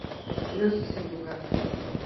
лехи сердюка